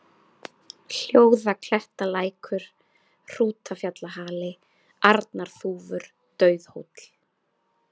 Hljóðaklettalækur, Hrútafjallahali, Arnarþúfur, Dauðhóll